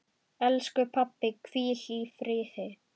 Elsku pabbi, hvíl í friði.